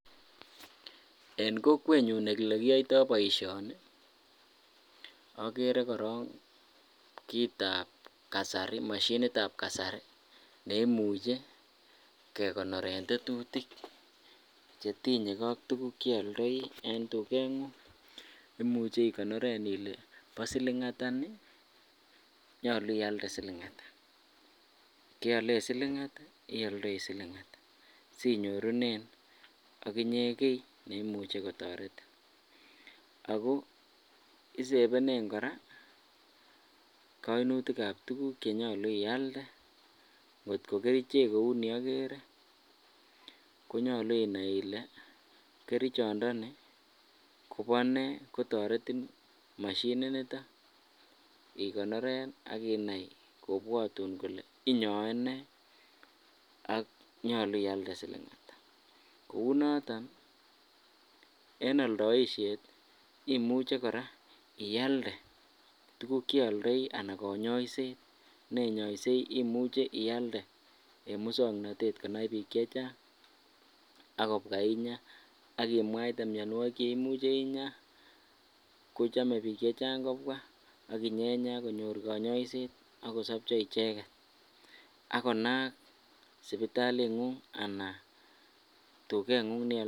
En kokwenyun olekiyoito boishoni okere korong kiitab kasari moshinitab kasari neimuche kekonoren tetutik chetinyeke ak tukuk cheoldoi en tuket, imuche ikonoren ilee bo silingata nii, nyolu ialde silingata, keolen silingata, ioldoi silingata sinyorunen okinye kii neimuche kotoretin ak ko isebenen kora koimutikab tukuk chenyolu ialde, kot ko kerichek kouni okere konyolu inai ilee kerichondoni Kobonee, kotoretin moshini niton ikonoren ak kinai kobwotun kolee inyoe nee ak nyolu ialde silingata kouu noton en oldoishet imuche kora ialde tukuk cheoldoi anan konyoiset nenyoisei imuche ialde en muswoknotet konai biik chechang akobwa inyaa, ak imuche imwaite mionwokik cheimuche inyaa kochome biik chechang kobwa ak inyenya konyor konyoiset akosobcho icheket ak konaak sipitalingung anan tukengung neoldoishen.